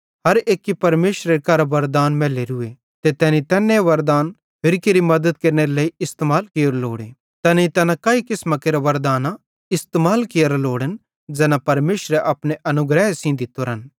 हर एक्की परमेशरे करां वरदान मैलोरूए ते तैनी तैन वरदान होरि केरि मद्दत केरनेरे लेइ इस्तेमाल कियोरू लोड़े तैनेईं तैना काई किसमां केरां वरदानां इस्तेमाल कियोरां लोड़न ज़ैना परमेशरेरे अपने अनुग्रहे सेइं दित्तोरन